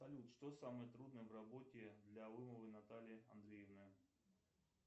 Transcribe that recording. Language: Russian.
салют что самое трудное в работе для ломовой натальи андреевны